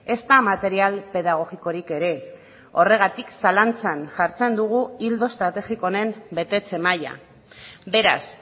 ezta material pedagogikorik ere horregatik zalantzan jartzen dugu ildo estrategiko honen betetze maila beraz